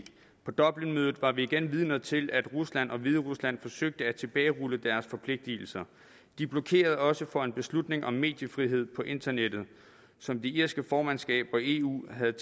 på dublinmødet var vi igen vidner til at rusland og hviderusland forsøgte at tilbagerulle deres forpligtelser de blokerede også for en beslutning om mediefrihed på internettet som det irske formandskab og eu havde